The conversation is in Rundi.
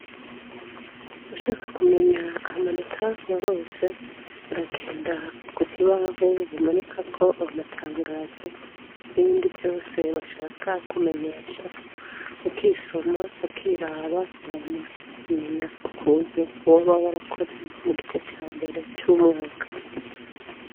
Ushaka kumenya amanota warose uragenda ku kibaho bumanika ko awo matangazo n'ibindi vyose bashaka kumenyesha ukisoma ukiraba ama akamenya ku kuntu woba wo arakoze mu gice ca mbere c'umwaka.